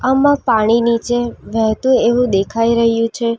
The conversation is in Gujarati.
અમાં પાણી નીચે વહેતું એવું દેખાઈ રહ્યું છે.